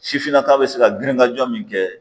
Sifinnaka bɛ se ka girinkaj min kɛ